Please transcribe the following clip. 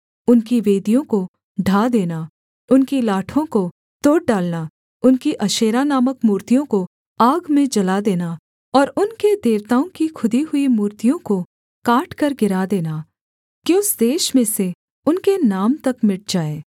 उनकी वेदियों को ढा देना उनकी लाठों को तोड़ डालना उनकी अशेरा नामक मूर्तियों को आग में जला देना और उनके देवताओं की खुदी हुई मूर्तियों को काटकर गिरा देना कि उस देश में से उनके नाम तक मिट जाएँ